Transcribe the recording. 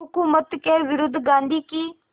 हुकूमत के विरुद्ध गांधी की